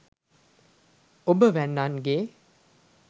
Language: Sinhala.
ඔබ වැන්නන්ගේ